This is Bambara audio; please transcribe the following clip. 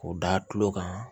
K'o da tulo kan